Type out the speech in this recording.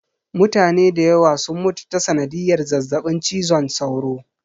Mutane dayawa sun mutu ta sanadiyar zazzaɓin cizon sauro